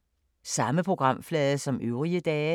Samme programflade som øvrige dage